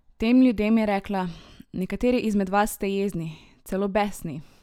Tem ljudem je rekla: "Nekateri izmed vas ste jezni, celo besni.